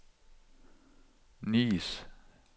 Nice